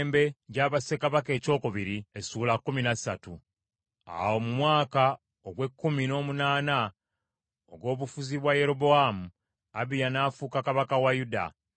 Awo mu mwaka ogw’ekkumi n’omunaana ogw’obufuzi bwa Yerobowaamu, Abiya n’afuuka kabaka wa Yuda,